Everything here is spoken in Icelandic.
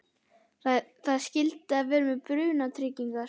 Það er skylda að vera með brunatryggingar.